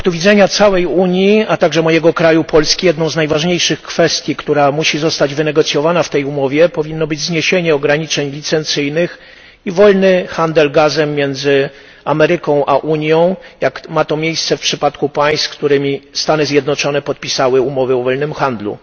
Z punktu widzenia całej Unii, a także mojego kraju Polski, jedną z najważniejszych kwestii, która musi zostać wynegocjowana w tej umowie, powinno być zniesienie ograniczeń licencyjnych i wolny handel gazem między Ameryką a Unią, jak ma to miejsce w przypadku państw, z którymi Stany Zjednoczone podpisały umowy o wolnym handlu.